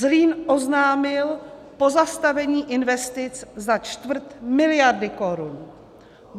Zlín oznámil pozastavení investic za čtvrt miliardy korun.